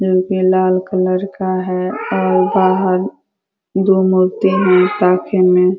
लाल colour का है और बाहर दो मूर्ति --